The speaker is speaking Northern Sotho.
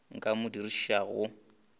ka mo o dirišitšwego mo